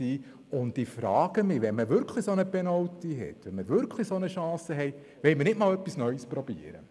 Deshalb frage ich mich, ob wir nicht einmal etwas Neues versuchen wollen, wenn wir einmal so einen Penalty, so eine Chance haben.